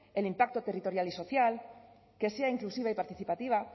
el impacto territorial y social que sea inclusiva y participativa